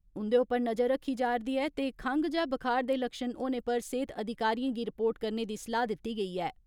उन्दे उप्पर नज़र रक्खी जारदी ऐ ते खंग जां बुखार दे लक्ष्ण होने पर सेहत अधिकारियें गी रिपोर्ट करने दी सलाह दिती गेई ऐ।